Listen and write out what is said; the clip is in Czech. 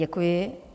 Děkuji.